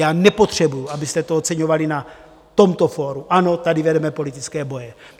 Já nepotřebuji, abyste to oceňovali na tomto fóru, ano, tady vedeme politické boje.